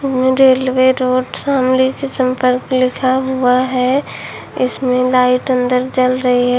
में railway road Shamli से संपर्क लिखा हुआ है इसमें लाइट अंदर जल रही है।